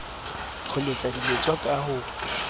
ho letsa diletswa ka ho